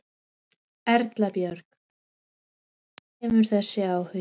Erla Björg: Hvaðan kemur þessi áhugi?